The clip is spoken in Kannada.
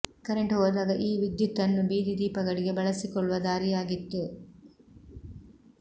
ಕರೆಂಟು ಹೋದಾಗ ಈ ವಿದ್ಯುತ್ ಅನ್ನು ಬೀದಿ ದೀಪಗಳಿಗೆ ಬಳಸಿಕೊಳ್ಳುವ ದಾರಿಯಾಗಿತ್ತು